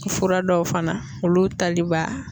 Fura dɔw fana olu tali b'a